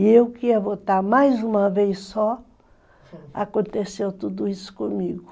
E eu que ia votar mais uma vez só, aconteceu tudo isso comigo.